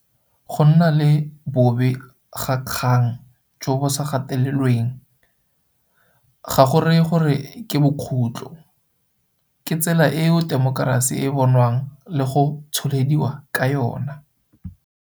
Go nna le bobegakgang jo bo sa gatelelweng ga go raye gore ke bokhutlho. Ke tsela eo temokerasi e bonwang le go tsholediwa ka yona.